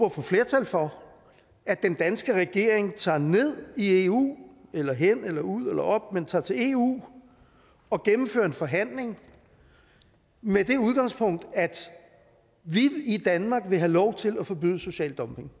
at få flertal for at den danske regering tager ned i eu eller hen eller ud eller op men tager til eu og gennemfører en forhandling med det udgangspunkt at vi i danmark vil have lov til at forbyde social dumping